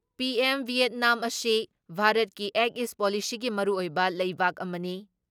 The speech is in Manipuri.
ꯄꯤꯑꯦꯝ ꯚꯤꯌꯦꯠꯅꯥꯝ ꯑꯁꯤ ꯚꯥꯔꯠꯀꯤ ꯑꯦꯛ ꯏꯁ ꯄꯣꯂꯤꯁꯤꯒꯤ ꯃꯔꯨꯑꯣꯏꯕ ꯂꯩꯕꯥꯛ ꯑꯃꯅꯤ